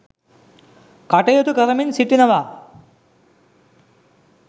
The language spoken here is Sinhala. කටයුතු කරමින් සිටිනවා.